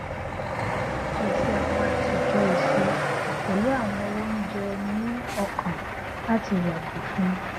à pèsè àwọn àtòjọ èso pẹlú àwọn oúnjẹ ní ọkàn láti yàgò fún